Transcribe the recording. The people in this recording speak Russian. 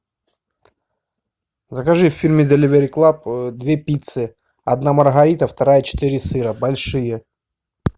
закажи в фирме деливери клаб две пиццы одна маргарита вторая четыре сыра большие